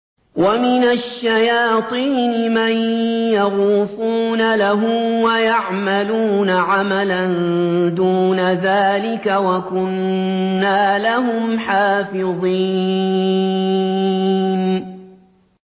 وَمِنَ الشَّيَاطِينِ مَن يَغُوصُونَ لَهُ وَيَعْمَلُونَ عَمَلًا دُونَ ذَٰلِكَ ۖ وَكُنَّا لَهُمْ حَافِظِينَ